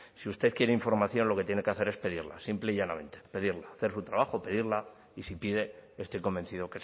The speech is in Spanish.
si usted quiere información lo que tiene que hacer es pedirla simple y llanamente pedirla hacer su trabajo y si pide estoy convencido